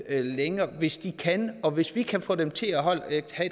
længere hvis de kan og hvis vi kan få dem til at have et